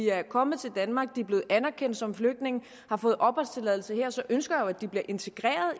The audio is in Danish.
er kommet til danmark hvor de er blevet anerkendt som flygtninge og har fået opholdstilladelse her så ønsker at de bliver integreret